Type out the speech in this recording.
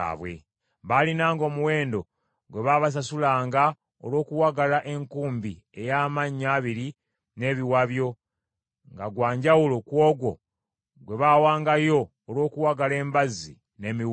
Baalinanga omuwendo gwe baasasulanga olw’okuwagala enkumbi ey’amannyo abiri n’ebiwabyo, nga gwa njawulo ku ogwo gwe baawangayo olw’okuwagala embazzi n’emiwunda.